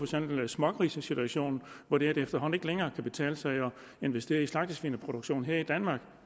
smågrisesituationen hvor det efterhånden ikke længere kan betale sig at investere i slagtesvin og produktion her i danmark